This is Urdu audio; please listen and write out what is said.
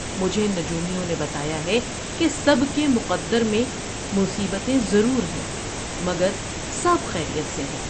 مجھے نجومیوں نے بتایا ہے کہ سب کے مقدر میں مصیبتیں ضرور ہیں مگر سب خیریت سے ہیں ۔